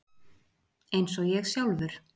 Eins og ég sjálfur.